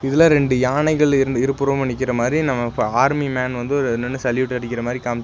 இதுல ரெண்டு யானைகள் இருந் இருபுறமு நிக்கிறமாரி நம்ம ப ஆர்மி மேன் வந்து ஒரு நின்னு சல்யூட் அடிக்கிறமாரி காமிச்--